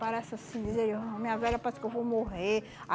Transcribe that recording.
Parece assim, dizer, ah, minha velha, parece que eu vou morrer.